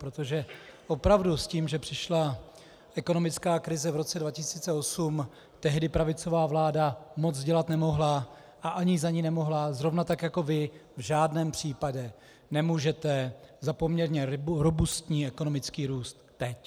Protože opravdu s tím, že přišla ekonomická krize v roce 2008, tehdy pravicová vláda moc dělat nemohla a ani za ni nemohla, zrovna tak jako vy v žádném případě nemůžete za poměrně robustní ekonomický růst teď.